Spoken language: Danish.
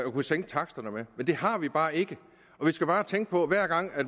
at sænke taksterne med men det har vi bare ikke og vi skal bare tænke på at hver gang